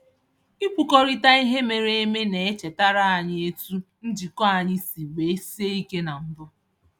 Ikwukọrịta ihe mere eme na-echetara anyị etu njikọ anyị si wee sie ike na mbụ.